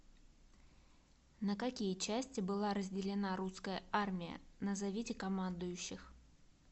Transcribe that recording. на какие части была разделена русская армия назовите командующих